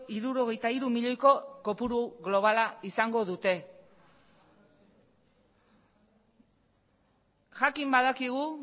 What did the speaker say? hirurogeita hiru milioiko kopuru globala izango dute jakin badakigu